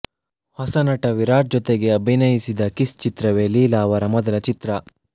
ಹೊಸನಟ ವಿರಾಟ್ ಜೊತೆಗೆ ಅಭಿನಯಿಸಿದ ಕಿಸ್ ಚಿತ್ರವೇ ಲೀಲಾ ಅವರ ಮೊದಲ ಚಿತ್ರ